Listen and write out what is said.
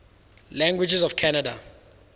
languages of canada